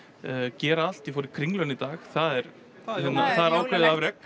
gera allt ég fór í Kringluna í dag það er ákveðið afrek